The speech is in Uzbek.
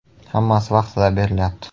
Hammasi vaqtida berilyapti.